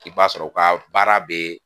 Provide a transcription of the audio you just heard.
I b'a sɔrɔ u ka baara bɛ